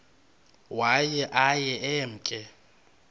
waye aye emke